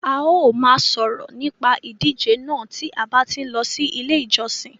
A ó ma sòrò nípa ìdíje náà ti a ba tí n ló ilé ìjosìn